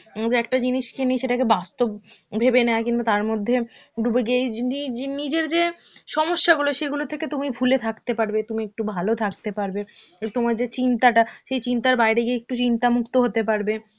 উম যে একটা জিনিস কিনি সেটাকে বাস্তব ভেবে নেয় কিংবা তারমধ্যে ডুবে গিয়ে নিজ~ নিজের যে সমস্যাগুলো সেগুলো থেকে তুমি ভুলে থাকতে পারবে, তুমি একটু ভালো থাকতে পারবে, তোমার যে চিন্তাটা সেই চিন্তার বাইরে গিয়ে একটু চিন্তামুক্ত হতে পারবে.